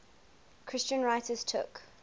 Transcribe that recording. christian writers took